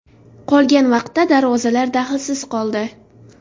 Qolgan vaqtda darvozalar dahlsiz qoldi.